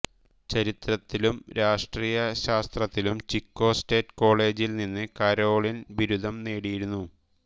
ചരിത്രത്തിലും രാഷ്ട്രീയ ശാസ്ത്രത്തിലും Chico State കോളേജിൽ നിന്ന് കരോളിൻ ബിരുദം നേടിയിരുന്നു